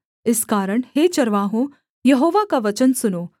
इस कारण हे चरवाहों यहोवा का वचन सुनो